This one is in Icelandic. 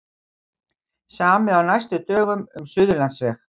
Samið á næstu dögum um Suðurlandsveg